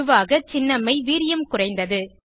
பொதுவாக சின்னம்மை வீரியம் குறைந்தது